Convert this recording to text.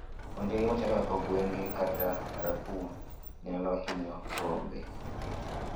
Ondiegi machalo kaka ogunge kata raccoons, nyalo hinyo rombe.